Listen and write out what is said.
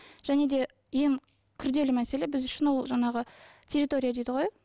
және де ең күрделі мәселе біз үшін ол жаңағы территория дейді ғой